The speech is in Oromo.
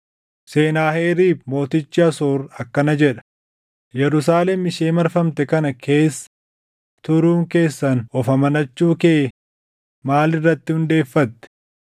“Senaaheriib mootichi Asoor akkana jedha: Yerusaalem ishee marfamte kana keessa turuun keessan of amanachuu kee maal irratti hundeeffatte?